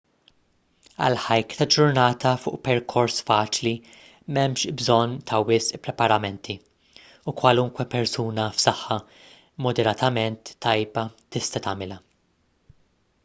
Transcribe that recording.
għal hike ta' ġurnata fuq perkors faċli m'hemmx bżonn ta' wisq preparamenti u kwalunkwe persuna f'saħħa moderatament tajba tista' tagħmilha